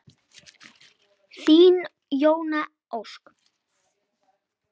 Þín Jóna Ósk.